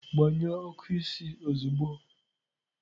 Gbanyụọ ọkụ isi ozugbo!